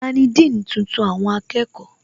Tani Dean tuntun àwọn akẹ́kọ̀ọ́?